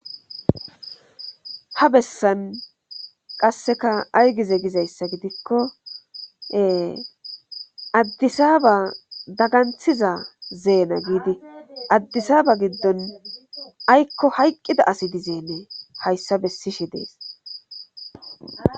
ha bessan qasseka aygize gizayssa gidikkoe addisaaba daganthiza zeena giidi addisaaba giddon aykko hayqqida asi dizeennee hayssa bessishe dees